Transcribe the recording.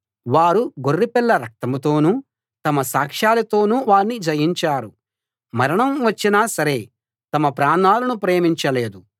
వారు గొర్రెపిల్ల రక్తం తోనూ తమ సాక్షాలతోనూ వాణ్ణి జయించారు మరణం వచ్చినా సరే తమ ప్రాణాలను ప్రేమించలేదు